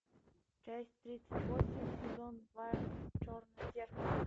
часть тридцать восемь сезон два черное зеркало